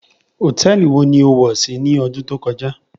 Hotẹẹli wó ni ó wọ si ni ọdun to kọja?